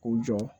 K'u jɔ